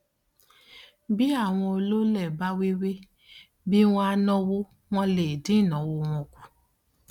bí àwọn olóolé bá wéwèé bí wọn á náwó wọn lè dín ìnáwó tí wọn ń ná kù